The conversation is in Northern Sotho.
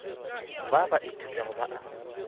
ba ba ithutago ba a